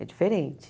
É diferente.